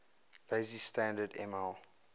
lazy standard ml